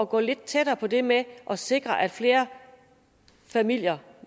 gå lidt tættere på det med at sikre at flere familier